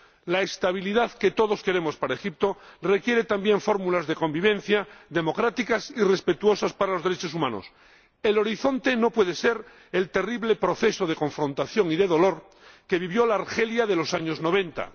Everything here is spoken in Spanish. La estabilidad que todos queremos para Egipto requiere también fórmulas de convivencia democráticas y respetuosas con los derechos humanos. El horizonte no puede ser el terrible proceso de confrontación y de dolor que vivió la Argelia de los años noventa.